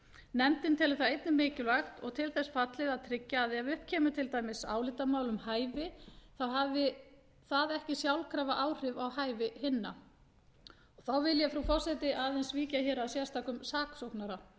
nefndin telur það einnig mikilvægt og til þess fallið að tryggja að ef upp kemur álitamál til dæmis um hæfi þá hafi það ekki sjálfkrafa áhrif á hæfi hinna þá vil ég frú forseti aðeins víkja að sérstökum saksóknara